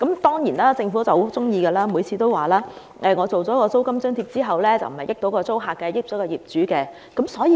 當然，政府多次強調，推出租金津貼不會令租戶得益，只對業主有利。